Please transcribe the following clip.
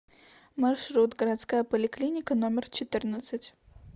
маршрут городская поликлиника номер четырнадцать